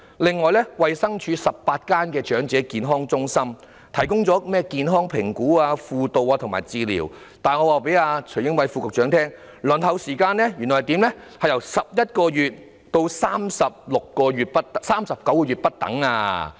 此外，衞生署轄下的18間長者健康中心提供包括健康評估、輔導和治療等服務，但我告訴徐英偉副局長，原來輪候成為新會員的時間由11個月至39個月不等。